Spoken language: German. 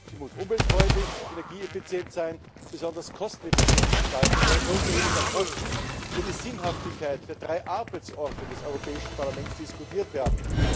Sie muss umweltfreundlich, energieeffizient und besonders kosteneffizient gestaltet sein. Es sollte auch offen über die Sinnhaftigkeit der drei Arbeitsorte des Europäischen Parlaments diskutiert werden.